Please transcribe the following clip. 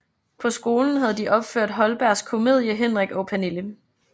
På skolen havde de opført Holbergs komedie Henrik og Pernille